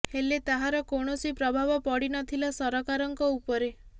ହେଲେ ତାହାର କୌଣସି ପ୍ରଭାବ ପଡ଼ି ନ ଥିଲା ସରକାରଙ୍କ ଉପରେ